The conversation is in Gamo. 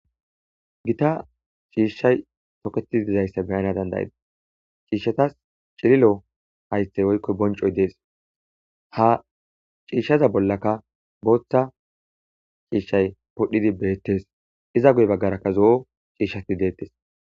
gita ciishshay toketi dizayssa beyana dandayida ciishshatas cililo haythey oykkoy boncoy dees ha ciishshaza bollaka booththa ciishshay podhdhidi beettes iza guye baggarakka zo7o ciishshati deettes